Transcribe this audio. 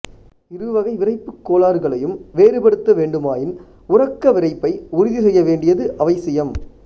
இரு வகை விறைப்புக் கோளாறுகளையும் வேறுபடுத்த வேண்டுமாயின் உறக்க விறைப்பை உறுதி செய்ய வேண்டியது அவசியம்